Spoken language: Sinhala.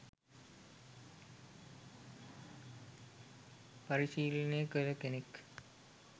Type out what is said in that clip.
පරිශීලනය කළ කෙනෙක්.